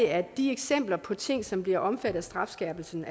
at de eksempler på ting som bliver omfattet strafskærpelsen